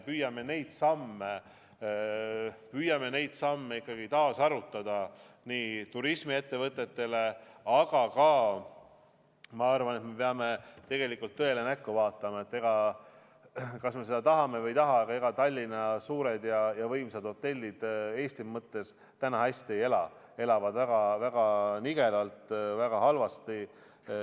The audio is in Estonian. Me püüame neid samme taas arutada turismiettevõtetega, aga ma arvan, et me peame tõele näkku vaatama – kas me seda tahame või ei taha: Tallinna Eesti mõttes suured ja võimsad hotellid täna hästi ei ela, elavad väga nigelalt, väga halvasti.